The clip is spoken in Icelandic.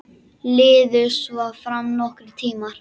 Liðu svo fram nokkrir tímar.